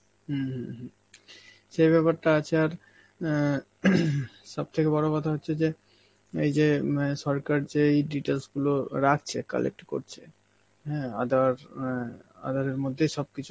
উম হম হম সেই ব্যাপারটা আছে আর অ্যাঁ থেকে বড় কথা হচ্ছে যে এই যে ম্যাঁ সরকার যে এই details গুলো রাখছে, collect করছে, হ্যাঁ আধার~ অ্যাঁ আধারের মধ্যেই সব কিছু,